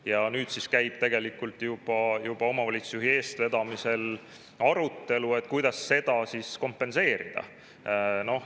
Ja nüüd siis käib tegelikult juba omavalitsusjuhi eestvedamisel arutelu, kuidas seda kompenseerida.